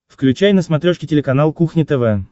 включай на смотрешке телеканал кухня тв